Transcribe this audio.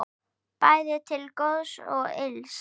Bæði til góðs og ills.